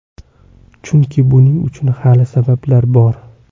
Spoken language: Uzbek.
Chunki buning uchun hali sabablar bor.